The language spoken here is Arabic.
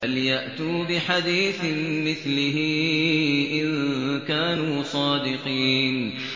فَلْيَأْتُوا بِحَدِيثٍ مِّثْلِهِ إِن كَانُوا صَادِقِينَ